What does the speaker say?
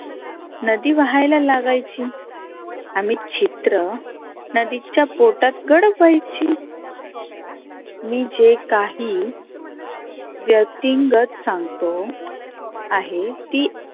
नदी वहायला लागायची आम्ही चित्र नदीच्या पोटात गडप व्हायची. मी जे काही व्यक्तींगत सांगतो आहे की